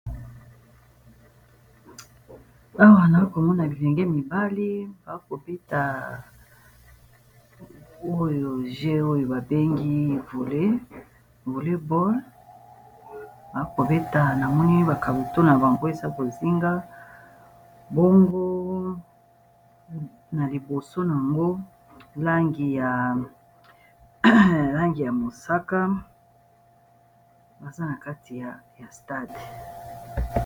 awa na komona bibenge mibali bakobeta oyo g oyo babengi vole boll bakobeta na moni bakambo to na bango eza kozinga bongo na liboso yango langi ya mosaka baza na kati ya stade